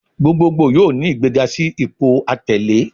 Gbogboogbo yoo ni igbega si ipo atẹle